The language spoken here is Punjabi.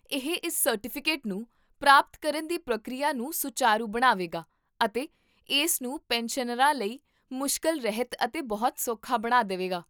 ਇਹ ਇਸ ਸਰਟੀਫਿਕੇਟ ਨੂੰ ਪ੍ਰਾਪਤ ਕਰਨ ਦੀ ਪ੍ਰਕਿਰਿਆ ਨੂੰ ਸੁਚਾਰੂ ਬਣਾਵੇਗਾ ਅਤੇ ਇਸ ਨੂੰ ਪੈਨਸ਼ਨਰਾਂ ਲਈ ਮੁਸ਼ਕਲ ਰਹਿਤ ਅਤੇ ਬਹੁਤ ਸੌਖਾ ਬਣਾ ਦੇਵੇਗਾ